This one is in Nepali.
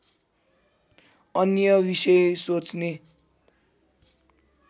अन्य विषय सोच्ने